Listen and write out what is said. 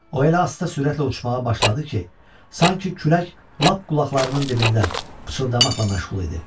O elə asta sürətlə uçmağa başladı ki, sanki külək lap qulaqlarının dibində qıçıldamaqla məşğul idi.